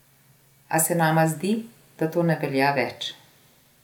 A se nama zdi, da to ne velja več.